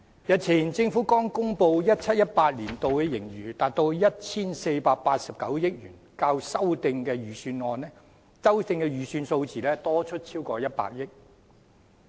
日前政府剛公布 2017-2018 年度的盈餘達 1,489 億元，較修訂的預算數字多出超過100億元。